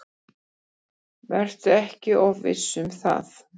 Vertu ekki of viss um það.